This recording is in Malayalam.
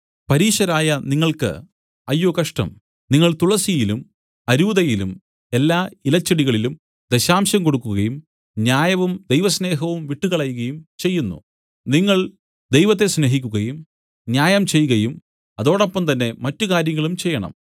പരീശരായ നിങ്ങൾക്ക് അയ്യോ കഷ്ടം നിങ്ങൾ തുളസിയിലും അരൂതയിലും എല്ലാ ഇല ചെടികളിലും ദശാംശം കൊടുക്കുകയും ന്യായവും ദൈവസ്നേഹവും വിട്ടുകളയുകയും ചെയ്യുന്നു നിങ്ങൾ ദൈവത്തെ സ്നേഹിക്കുകയും ന്യായം ചെയ്കയും അതോടൊപ്പം തന്നെ മറ്റ് കാര്യങ്ങളും ചെയ്യണം